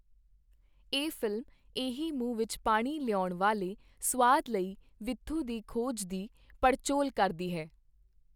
ਇਹ ਫ਼ਿਲਮ ਏਹੀ ਮੂੰਹ ਵਿੱਚ ਪਾਣੀ ਲਿਆਉਣ ਵਾਲੇ ਸੁਆਦ ਲਈ ਵਿਥੂ ਦੀ ਖੋਜ ਦੀ ਪੜਚੋਲ ਕਰਦੀ ਹੈ।